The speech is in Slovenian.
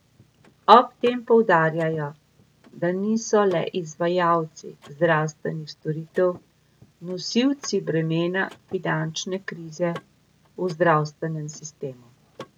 Ob tem poudarjajo, da niso le izvajalci zdravstvenih storitev nosili bremena finančne krize v zdravstvenem sistemu.